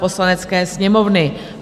Poslanecké sněmovny